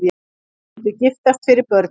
Myndu giftast fyrir börnin